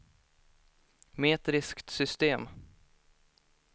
metriskt system